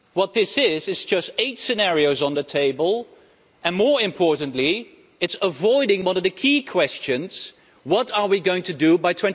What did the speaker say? This is just eight scenarios on the table and, more importantly, it's avoiding one of the key questions what are we going to do by